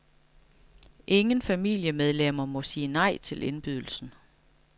Ingen familiemedlemmer må sige nej til indbydelsen.